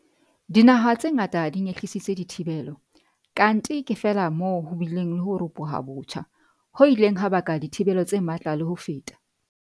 Dinaha tse ngata di nyehlisitse dithibelo, kanthe ke feela moo ho bileng le ho ropoha botjha, ho ileng ha baka dithibelo tse matla le ho feta.